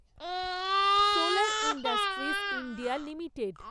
solar Industries India limited